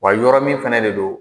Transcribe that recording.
Wa yɔrɔ min fana de don